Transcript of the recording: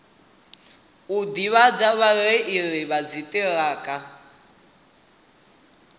u ḓivhadza vhareili vha dziṱhirakha